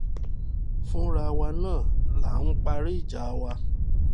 fúnra wa náà là ń parí ìjà wa